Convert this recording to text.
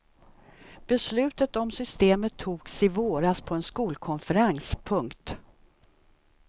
Beslutet om systemet togs i våras på en skolkonferens. punkt